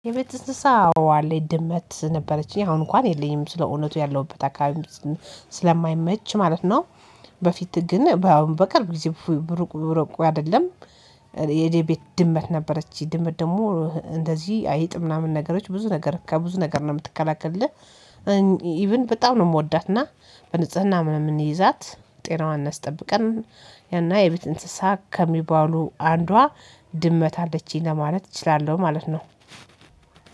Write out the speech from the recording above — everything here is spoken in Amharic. የቤት እንስሳ አዎ አለኝ ድመት ነበረችኝ አሁን እንኳን የለኝም ስለእውነቱ ያለሁበት አካባቢ ስለማይመች ማለት ነው። በፊት ግን በቅርብ ጊዜ በሩቁ በሩቁ አይደለም። የኔ ቤት ድመት ነበረችኝ ድመት ደግሞ እንደዚህ አይጥ ምናምን ነገሮች ብዙ ነገር ከብዙ ነገር ነው የምትከላከልልህ። ኢቭን በጣም ነው የምወዳትና በንጽህና ምናምን ምንይዛት ጤናዋን አስጠብቀን። ያና የቤት እንስሳ ከሚባሉ አንዷ ድመት አለችኝ ለማለት እችላለሁ ማለት ነው።